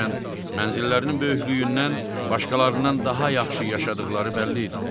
Hərçənd mənzillərinin böyüklüyündən başqalarından daha yaxşı yaşadıqları bəlli idi.